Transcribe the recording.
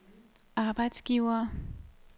arbejdsgivere